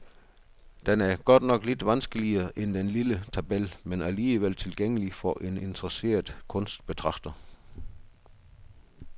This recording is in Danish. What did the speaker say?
Den er godt nok lidt vanskeligere end den lille tabel, men alligevel tilgængelig for en interesseret kunstbetragter.